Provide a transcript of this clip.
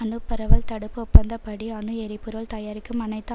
அணுபரவல் தடுப்பு ஒப்பந்தப்படி அணு எரிபொருள் தயாரிக்கும் அனைத்து